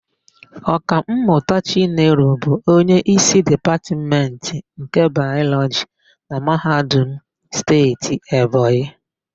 Ọkammụta Chinelo bụ onyeísí Dipatmentị nke Bayọlọjị na Mahadum Steeti Ebonyi.